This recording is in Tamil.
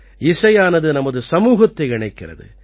இசையானது நமது சமூகத்தை இணைக்கிறது